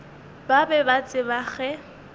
ba be ba tseba ge